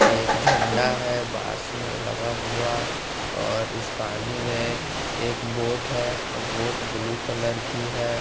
एक झंडा है बांस में लगा हुआ और इस पानी में एक बोट है और बोट ब्लू कलर की है।